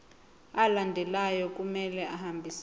alandelayo kumele ahambisane